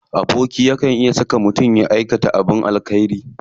Aboki na iya saka mutum ya aikata abin alkhairi.